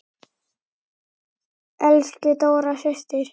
Elsku Dóra systir.